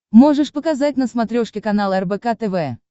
можешь показать на смотрешке канал рбк тв